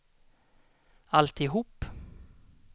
alltihop